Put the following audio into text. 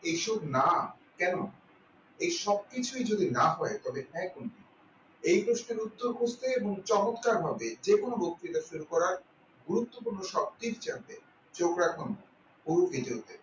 এইসব না কেন এই সব কিছু যদি না হয় তবে হ্যাঁ কোনটি এই প্রশ্নের উত্তর খুঁজতে এবং চমৎকারভাবে যেকোনো বক্তৃতার উপর আজ গুরুত্বপূর্ণ সব trick জানতে চোখ রাখুন বহু কিছুতে